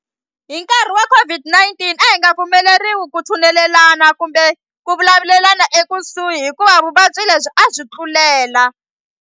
hi nkarhi wa COVID-19 a hi nga pfumeleriwi ku tshunelelana kumbe ku vulavulelana ekusuhi hikuva vuvabyi lebyi a byi tlulela.